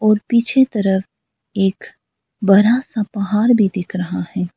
और पीछे तरफ एक बड़ा सा पहाड़ भी दिख रहा है।